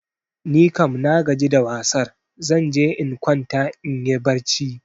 Nikam nagaji da wasar, zan je in kwanta inyi barci.